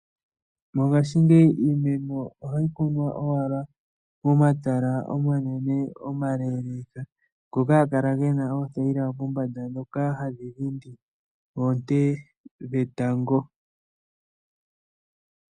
Mongashingeyi iimeno ohayi kunwa owala momatala omanene omaleleka ngoka haga kala gena oothayila dhoka hadhi dhindi oonte dhetango.